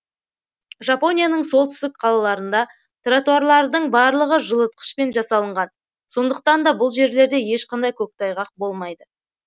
жапонияның солтүстік қалаларында тротуарлардың барлығы жылытқышпен жасалынған сондықтан да бұл жерлерде ешқашан көктайғақ болмайды